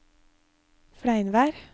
Fleinvær